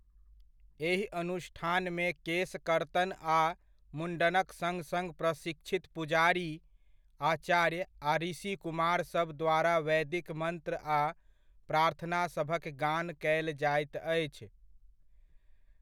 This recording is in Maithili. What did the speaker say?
एहि अनुष्ठानमे केस कर्तन आ मुण्डनक सङ्ग सङ्ग प्रशिक्षित पुजारी, आचार्य आ ऋषिकुमार सभ द्वारा वैदिक मन्त्र आ प्रार्थना सभक गान कयल जाइत अछि।